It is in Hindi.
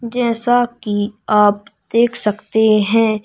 जैसा कि आप देख सकते हैं--